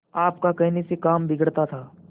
आपका कहने से काम बिगड़ता था